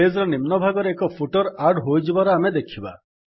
page ର ନିମ୍ନ ଭାଗରେ ଏକ ଫୁଟର୍ ଆଡ୍ ହୋଇଯିବାର ଆମେ ଦେଖିବା